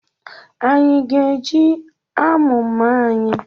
Anyị ga-eje amụ mma anyị?